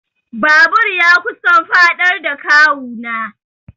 Babur ya kusan faɗar da kawu na.